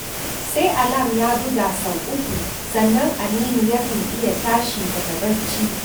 Sai alam ya buga sau uku sannan Aminu yakan iya tashi daga barci